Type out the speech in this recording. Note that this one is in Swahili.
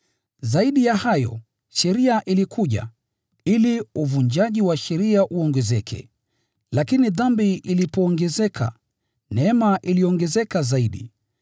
Zaidi ya hayo, sheria ilikuja, ili uvunjaji wa sheria uongezeke. Lakini dhambi ilipoongezeka, neema iliongezeka zaidi,